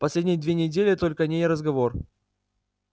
последние две недели только о ней и разговор